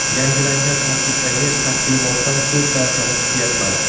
Yangilangan tarkibdagi taqdimotdan ko‘p narsani kutyapman.